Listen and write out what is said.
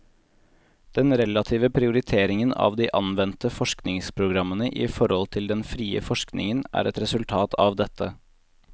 Den relative prioriteringen av de anvendte forskningsprogrammene i forhold til den frie forskningen, er et resultat av dette.